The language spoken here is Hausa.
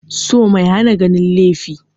So mai hana ganin laifi